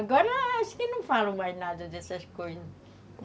Agora acho que não falam mais nada dessas coisas.